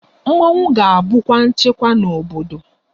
Mmọnwụ ga-abukwa nchekwa n'obodo